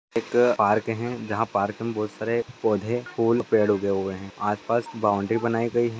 एक पार्क है पार्क मे बहुत सारे पौधे फूल पेड़ उगे हुए है आस-पास बाउंड्री बनाई गई है।